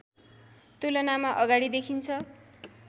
तुलनामा अगाडि देखिन्छ